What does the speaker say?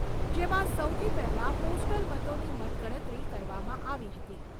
જેમાં સૌથી પહેલાં પોસ્ટલ મતોની મતગણતરી કરવામાં આવી હતી.